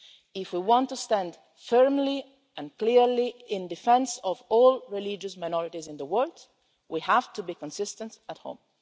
If we want to stand firmly and clearly in defence of all religious minorities in the world, we have to be consistent on this at home.